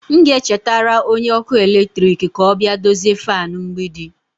M ga-echetara onye ọkụ eletrik ka ọ bịa dozie fan mgbidi.